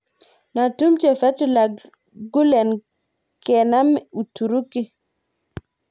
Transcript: Notumche Fetullah Gulen kenam Uturuki.